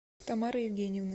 тамары евгеньевны